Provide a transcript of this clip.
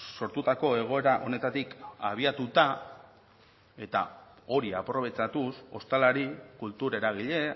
sortutako egoera honetatik abiatuta eta hori aprobetxatuz hostalari kultur eragile